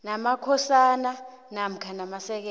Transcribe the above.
namakhosana namkha amasekela